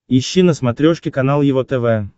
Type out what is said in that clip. ищи на смотрешке канал его тв